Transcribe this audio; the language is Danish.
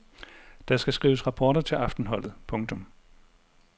Der skal skrives rapporter til aftenholdet. punktum